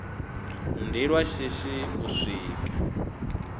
ndi lwa shishi u swika